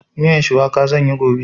Miyan shuwaka zan yi gobe.